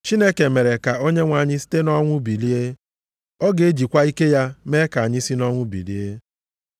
Chineke mere ka Onyenwe anyị site nʼọnwụ bilie, ọ ga-ejikwa ike ya mee ka anyị si nʼọnwụ bilie.